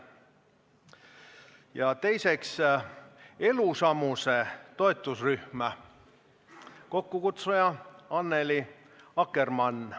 Ja teiseks, Elusamuse toetusrühm, kokkukutsuja Annely Akkermann.